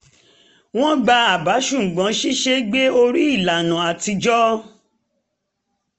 wọ́n gba àbá ṣùgbọ́n ṣíṣe é gbé orí ìlànà atijọ́